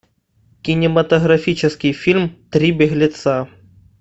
кинематографический фильм три беглеца